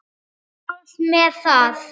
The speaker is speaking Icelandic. Hvað með það?